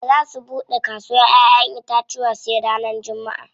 Ba za su buɗe kasawar ƴaƴen itacuwa sai ranar jummaʼa.